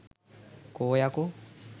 කෝ යකෝ